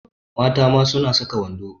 Mata ma suna saka wando.